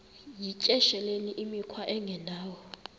yityesheleni imikhwa engendawo